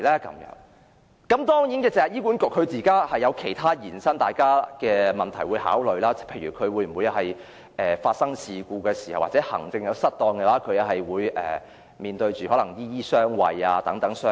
當然，大家亦需考慮醫管局現時其他衍生出的問題，例如有人批評在出現事故或行政失當時醫管局"醫醫相衞"等。